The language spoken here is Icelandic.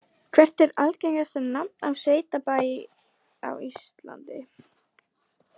Hvert er algengasta nafn á sveitabæ á Íslandi?